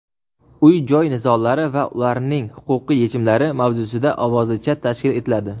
"Uy-joy nizolari va ularning huquqiy yechimlari" mavzusida ovozli chat tashkil etiladi.